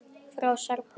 Frá Serbíu.